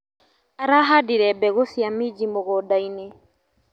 Arahandire mbegũ cia minji mũgũndanĩ.